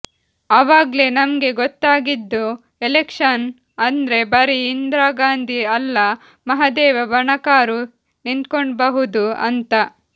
ಅವಾಗ್ಲೇ ನಮ್ಗೆ ಗೊತ್ತಾಗಿದ್ದು ಎಲೆಕ್ಷನ್ನು ಅಂದ್ರೆ ಬರೀ ಇಂದ್ರಾಗಾಂಧಿ ಅಲ್ಲ ಮಹದೇವ ಬಣಕಾರೂ ನಿಂತ್ಕೊಬೌದು ಅಂತ